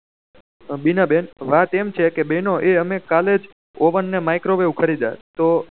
બીના બેન વાત એમ છે કે બેહનો અમે કાલે જ ઓવેન ને મીકરો વેવ ખરીધા તો